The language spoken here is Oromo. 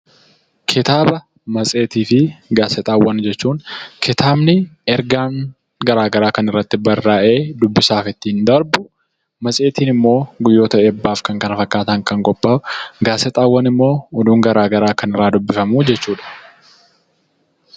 Kitaaba, matseetii fi gaazexaawwan yoo jennu, kitaabni ergaan garaa garaa kan irratti barraa'ee dubbisaaf ittiin darbu, matseetiin immoo guyyoota eebbaa fi kan kana fakkaatan kan qophaa'u, gaazexaawwan immoo oduun garaa garaa kan irraa dubbifamu jechuudha.